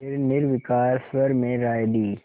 फिर निर्विकार स्वर में राय दी